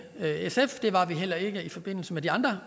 sf det var vi heller ikke i forbindelse med de andre